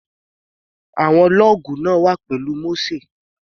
Àwọn lọ́ọ̀gù náà wà pẹ̀lú Mósè.